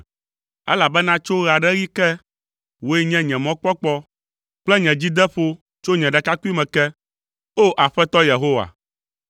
Elabena tso ɣe aɖe ɣi ke, wòe nye nye mɔkpɔkpɔ kple nye dzideƒo tso nye ɖekakpuime ke, O! Aƒetɔ Yehowa.